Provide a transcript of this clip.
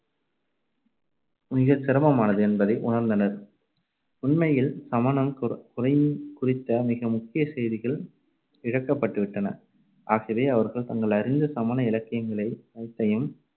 மிகச்சிரமமானது என்பதை உணர்ந்தனர். உண்மையில் சமணம் குறைந்~ குறித்த மிக முக்கியச் செய்திகள் இழக்கப்பட்டு விட்டன. ஆகவே அவர்கள் தாங்கள் அறிந்த சமண இலக்கியங்கள் அனைத்தையும்